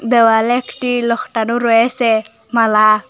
দেওয়ালে একটি লকটানো রয়েসে মালা।